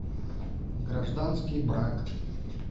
гражданский брак